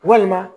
Walima